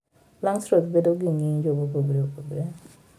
Langstroth bedo gi ng'injo mopogore opogre.